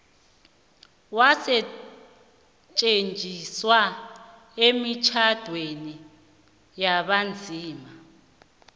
wasetjenziswa emitjhadweni yabanzima